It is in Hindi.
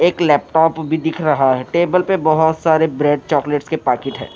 एक लैपटॉप भी दिख रहा है टेबल पर बहुत सारे ब्रेड चॉकलेट्स के पैकीट है।